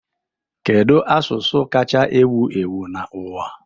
Kedu asụsụ kacha ewu ewu n'ụwa?